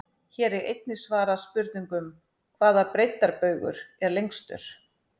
Hér er einnig svarað spurningunum: Hvaða breiddarbaugur er lengstur?